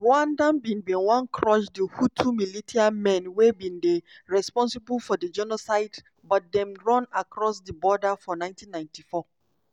rwanda bin bin wan crush di hutu militiamen wey bin dey responsible for di genocide but dem run across di border for 1994.